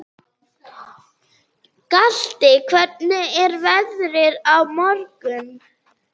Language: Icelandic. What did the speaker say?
Galti, hvernig er veðrið á morgun?